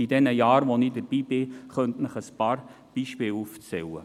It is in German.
in den Jahren, da ich dabei bin, könnte ich Ihnen einige Beispiele aufzählen.